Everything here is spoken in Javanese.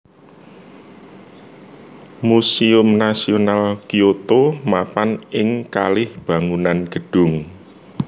Museum Nasional Kyoto mapan ing kalih bangunan gedung